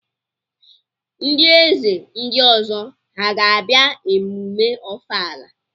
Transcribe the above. Ndị eze ndị ọzọ ha ga-abịa emume ọfala?